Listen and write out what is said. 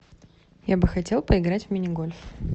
я бы хотела поиграть в мини гольф